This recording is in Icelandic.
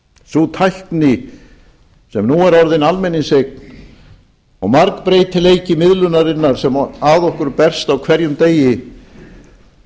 sú tækni sem nú er orðin almenningseign og margbreytileiki miðlunarinnar sem að okkur berst á hverjum degi